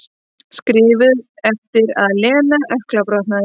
Skrifuð eftir að Lena ökklabrotnaði.